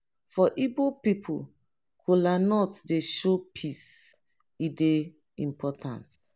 for igbo pipo kolanut dey show peace e dey important.